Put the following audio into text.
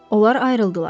Onlar ayrıldılar.